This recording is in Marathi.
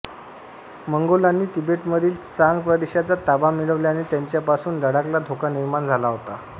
मंगोलांनी तिबेटमधील त्सांग प्रदेशाचा ताबा मिळवल्याने त्यांच्यापासून लडाखला धोका निर्माण झाला होता